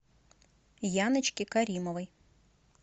яночке каримовой